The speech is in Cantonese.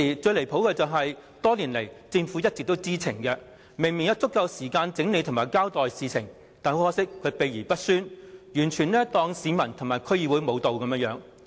最離譜的是，多年來政府一直知情，明明有足夠時間整理及交代事件，但卻秘而不宣，完全不把市民和區議會放在眼內。